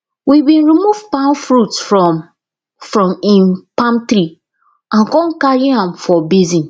we bin remove palm fruits from from im palm tree and con carry am for basin